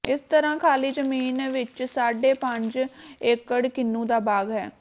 ਇਸ ਤਰ੍ਹਾਂ ਖਾਲੀ ਜ਼ਮੀਨ ਵਿਚ ਸਾਢੇ ਪੰਜ ਏਕੜ ਕਿਨੂੰ ਦਾ ਬਾਗ ਹੈ